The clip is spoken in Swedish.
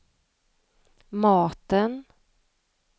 maten